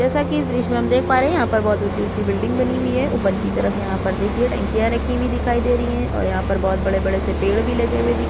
जैसा की इस दृश्य में हम देख पा रहै है यहाँ पर बहुत ऊंची-ऊंची बिल्डिंग बनी हुई है ऊपर की तरफ यहाँ पर देखिये टंकियां रखी हुई है और यहाँ पर बहुत बड़े-बड़े से पेड़ भी लगे हुए दिख --